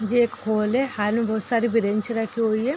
ये एक हॉल है हाल में ही बहोत सारी ब्रेंच रखी हुई हैं।